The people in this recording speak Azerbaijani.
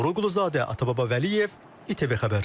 Toğrul Quluzadə, Atababa Vəliyev, İTV Xəbər.